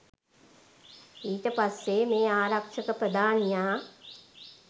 ඊට පස්සේ මේ ආරක්ෂක ප්‍රධානියා